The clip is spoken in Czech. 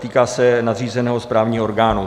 Týká se nadřízeného správního orgánu.